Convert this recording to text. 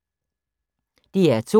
DR2